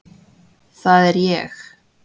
Það er ég.